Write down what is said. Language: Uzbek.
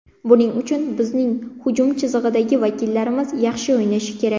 Buning uchun bizning hujum chizig‘idagi vakillarimiz yaxshi o‘ynashi kerak.